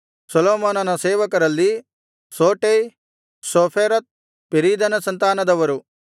ಸೊಲೊಮೋನನ ಸೇವಕರಲ್ಲಿ ಸೋಟೈ ಸೋಫೆರೆತ್ ಪೆರೀದನ ಸಂತಾನದವರು